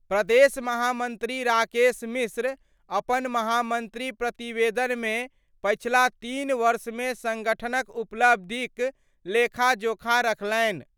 प्रदेश महामंत्री राकेश मिश्र अपन महामंत्री प्रतिवेदन मे पछिला तीन वर्ष मे संगठन क उपलब्धि क लेखा-जोखा रखलनि।